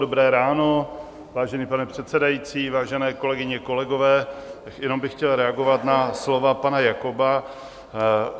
Dobré ráno, vážený pane předsedající, vážené kolegyně, kolegové, jenom bych chtěl reagovat na slova pana Jakoba.